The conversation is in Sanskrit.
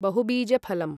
बहुबीजफलम्